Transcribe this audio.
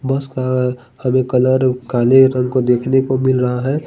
बस का हमे कलर काले रंग को देखने को मिल रहा है।